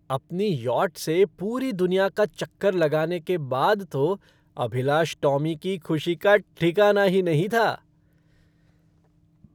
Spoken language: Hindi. अपनी यॉट से पूरी दुनिया का चक्कर लगाने के बाद तो अभिलाष टॉमी की खुशी का ठिकाना ही नहीं था।